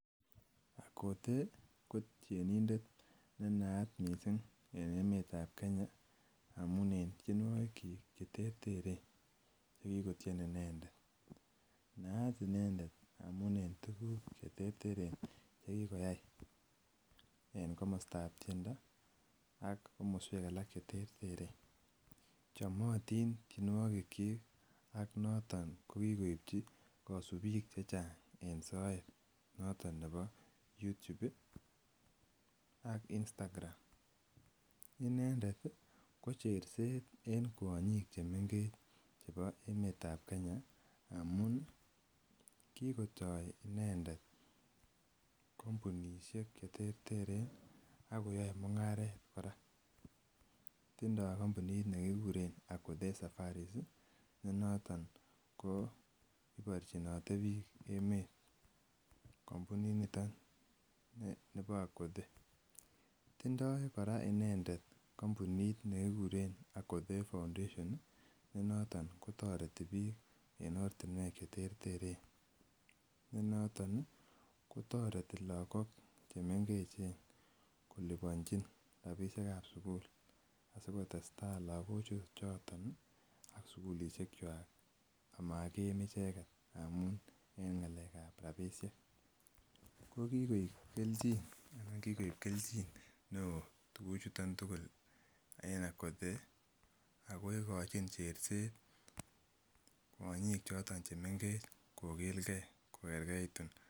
Akothee ko tienindet ne naat missing en emeetab Kenya amuun en tienuokik chik cheterteren chekikotien inendet naat inendet amuun en tuguk cheterteren chekikotien en komosotab tiendo ak komosuek alak cheterteren chomotin tienuokik chik ko noton kikoibchi noton nebo YouTube cs ak Instagram. Inendet ih ko cherset en kuonyik chemengech ih chebo emetab Kenya ndamuun kikotaa inendet kampunisiek cheterteren akoyae mung'aret kora tindoo kampunit nekikuren akothee safaris ih. Ne noton iborchinete bik emet kampunit nito nebo akothee. Tindoo Kora inendet kampunisiek nikikuren Akothee foundation. Ne noton kotoreti bik en oratuniek cheterteren. Toreti lakok chemengech kolubchani rabisiek chechang sikotestai lakok chon en sugulisiekuak amaagiim icheket ngamun en ng'alekab rabisiek. Kokikoib kelchin neoo tuguk chuton tugul en akothee ako ikochin cherset kwonyik choton chemengech kokilge.